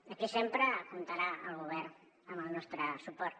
aquí sempre comptarà el govern amb el nostre suport